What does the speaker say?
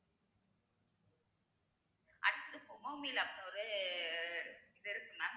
அதுத்து அப்படினு ஒரு இது இருக்கு mam